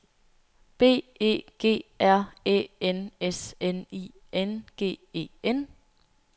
B E G R Æ N S N I N G E N